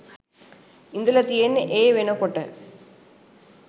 ඉඳල තියෙන්නේ ඒ වෙනකොට